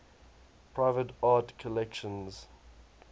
private art collections